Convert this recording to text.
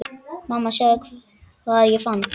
Mamma sjáðu hvað ég fann!